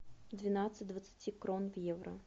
двенадцать двадцати крон в евро